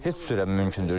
Heç cürə mümkün deyil.